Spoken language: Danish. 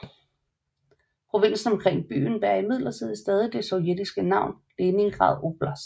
Provinsen omkring byen bærer imidlertid stadig det sovjetiske navn Leningrad oblast